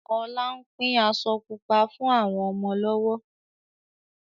Ọlá ń pín aṣọ Pupa fún àwọn ọmọ lọ́wọ́